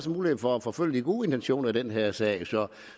en mulighed for at forfølge de gode intentioner i den her sag